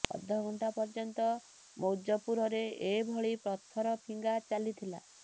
ଅଧା ଘଣ୍ଟା ପର୍ଯ୍ୟନ୍ତ ମୌଜପୁରରେ ଏଭଳି ପଥର ଫିଙ୍ଗା ଚାଲିଥିଲା